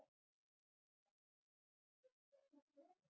Magnús: Eruð þið ekki stolt af þessu verkefni?